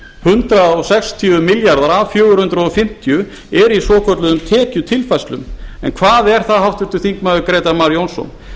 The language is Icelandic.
hundrað sextíu milljarðar af fjögur hundruð fimmtíu eru í svokölluðum tekjutilfærslum en hvað er það háttvirtur þingmaður grétar mar jónsson